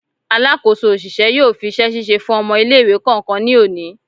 Alakoso oṣiṣẹ yóò fi iṣẹ-ṣiṣe fún ọmọ ile-iwe kọọkan ní oni